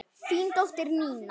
Þín dóttir, Nína.